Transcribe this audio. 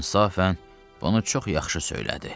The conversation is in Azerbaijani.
İnsafən bunu çox yaxşı söylədi.